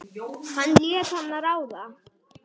Hann lét hana ráða.